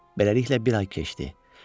Beləliklə, bir ay keçdi.